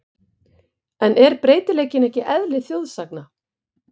En er breytileikinn ekki eðli þjóðsagna?